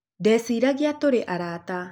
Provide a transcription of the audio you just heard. Ndeciragia tũrĩ arata